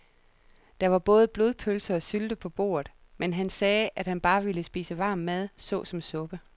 Der var både blodpølse og sylte på bordet, men han sagde, at han bare ville spise varm mad såsom suppe.